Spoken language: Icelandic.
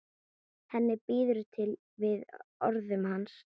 Henni býður við orðum hans.